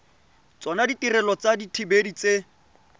tsona ditirelo tsa dithibedi tse